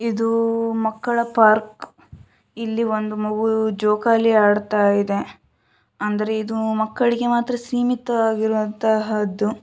ಇದು ಮಕ್ಕಳ ಪಾರ್ಕ್‌ . ಇಲ್ಲಿ ಒಂದು ಮಗು ಜೋಕಾಲಿ ಆಡ್ತಾ ಇದೆ. ಅಂದರೆ ಇದು ಮಕ್ಕಳಿಗೆ ಮಾತ್ರ ಸೀಮಿತವಾಗಿರುವಂತಹುದು.